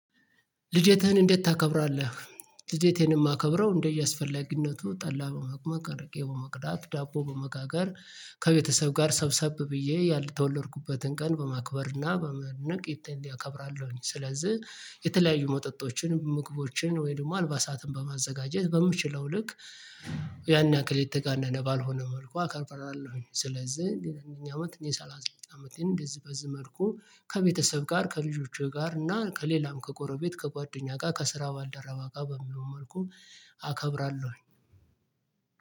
ልደተህን እንዴት ታከብራለህ? ልደቴን የማከብረው እንደየ አስፈለጊነቱ ጠላ በመቅመቅ አርቄ በመቅዳት ዳቦ በመጋጋር ከቤተሰብ ጋር ሰብሰብ ብዬ የተወለድኩበትን ቀን በማክበር እና በመነቅ ልደቴን እከብራለሁኝ። ስለዚህ የተለያዩ መጠጦችን ምግቦችን ወይም ደግሞ አንበሳትን በማዘጋጀት በምችለው ልክ ያን ያክል የተጋነነ ባልሆነ መልኩ አከብራለሁ። ስለዚህ እኛ አመት ሰላሳ ስድስት አመቴን እንደዚህ በዚህ መልኩ ከቤተሰብ ጋር ከልጆቼ ጋር እና ከሌላም ከቆሮ ቤት ከጓደኛ ጋር ከስራ ባልደረባ ጋር በሚለው መልኩ። አከብራለሁኝ።